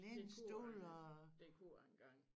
Det kunne jeg det kunne jeg engang